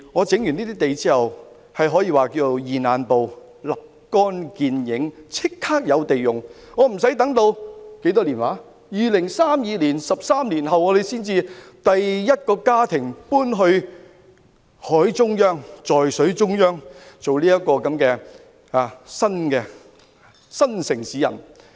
整頓這些土地後，可以說是"現眼報"，是立竿見影的，立即有土地可供使用，不用等到13年後，在2032年才有首個家庭搬往海中央，在水中央做"新城市人"。